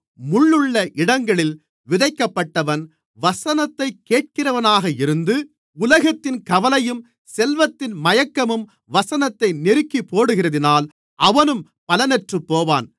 முள்ளுள்ள இடங்களில் விதைக்கப்பட்டவன் வசனத்தைக் கேட்கிறவனாக இருந்து உலகத்தின் கவலையும் செல்வத்தின் மயக்கமும் வசனத்தை நெருக்கிப்போடுகிறதினால் அவனும் பலனற்றுப்போவான்